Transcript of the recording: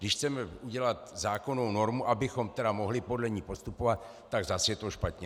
Když chceme udělat zákonnou normu, abychom tedy mohli podle ní postupovat, tak zas je to špatně.